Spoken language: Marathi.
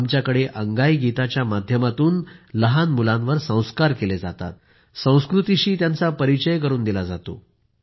आमच्याकडे अंगाईगीताच्या माध्यमातून लहान मुलांवर संस्कार केले जातात संस्कृतीशी त्यांचा परिचय करून दिला जातो